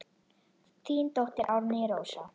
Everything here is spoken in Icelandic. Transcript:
Þín dóttir Árný Rósa.